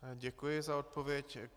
Děkuji za odpověď.